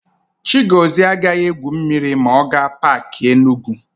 Chigọzie agaghị égwù mmiri ma ọ gaa Paakị Enugu.